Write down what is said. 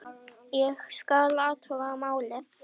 Ég skal athuga málið